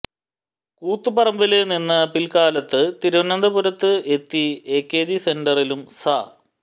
കൂത്തുപറമ്പില് നിന്ന് പില്ക്കാലത്ത് തിരുവനന്തപുരത്ത് എത്തി എകെജി സെന്ററിലും സ